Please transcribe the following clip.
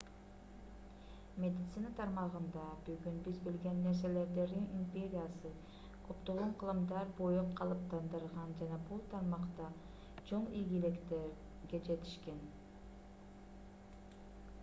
медицина тармагында бүгүн биз билген нерселерди рим империясы көптөгөн кылымдар бою калыптандырган жана бул тармакта чоң ийгиликтерге жетишкен